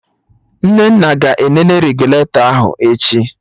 Nnenna ga-enene regụlatọ ahụ echi